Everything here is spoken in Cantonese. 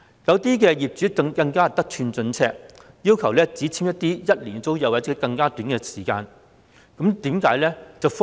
部分業主更得寸進尺，要求與租客簽署為期僅一年或時間更短的租約。